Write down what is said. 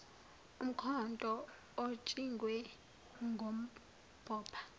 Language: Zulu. umkhonto otshingwe ngumbopha